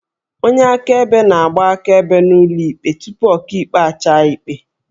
Onye akaebe na-agba akaebe n'ụlọ ikpe tupu Ọkaikpe a chaa ikpe